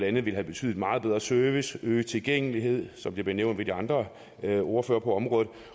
andet ville have betydet meget bedre service øget tilgængelighed som det blev nævnt af de andre ordførere på området